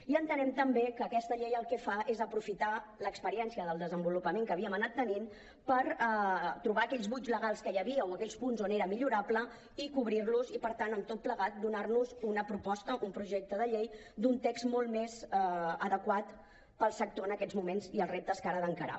i entenem també que aquesta llei el que fa és aprofitar l’experiència del desenvolupament que havíem anat tenint per trobar aquells buits legals que hi havia o aquells punts on era millorable i cobrir los i per tant amb tot plegat donar nos una proposta un projecte de llei d’un text molt més adequat per al sector en aquests moments i els reptes que ara ha d’encarar